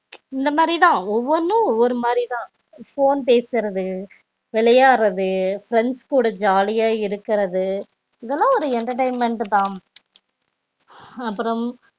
இந்த மாரி தா ஒவ்வொண்ணும் ஒவ்வொரு மாறிதா phone பேசறது விளையாடடுறது friends கூட ஜாலிய இருக்கறது இதலாம் ஒரு entertainment தா அப்றம்